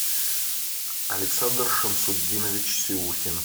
александр шамсудинович сиухин